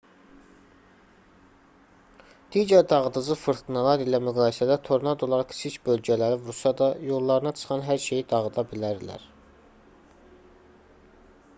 digər dağıdıcı fırtınalar ilə müqayisədə tornadolar kiçik bölgələri vursa da yollarına çıxan hər şeyi dağıda bilərlər